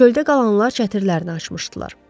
Çöldə qalanlar çətirlərini açmışdılar.